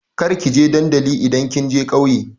Kar ki je dandali idan kin je ƙauye!